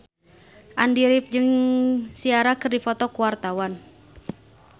Andy rif jeung Ciara keur dipoto ku wartawan